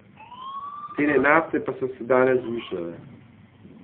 Cene nafte pa so se danes zvišale.